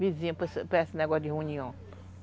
vizinha para esse negócio de reunião.